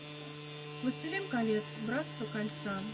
властелин колец братство кольца